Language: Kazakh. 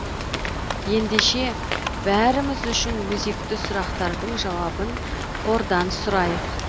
ендеше бәріміз үшін өзекті сұрақтардың жауабын қордан сұрайық